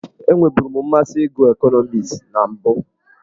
Enweburu m mmasị ịgụ ekọnọmiks na mbụ.